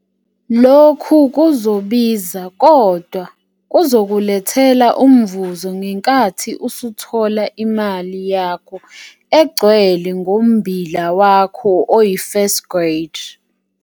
Lokhu kuzobiza kodwa kuzokulethela umvuzo ngenkathi usuthola imali yakho egcwele ngombila wakho oyi-first grade.